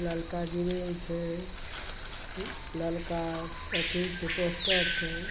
ललका ग्रिल छै ललका अथी छै पोस्टर छै।